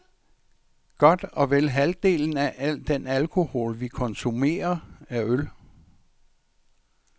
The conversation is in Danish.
Godt og vel halvdelen af al den alkohol, vi konsumerer, er øl.